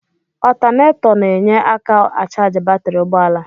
Ọtanetọ na-enye aka achaji batri ụgbọala.